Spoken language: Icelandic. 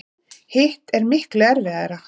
Hitt er miklu erfiðara.